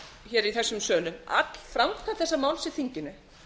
hér í þessum sölum öll framkvæmd þessa máls í þinginu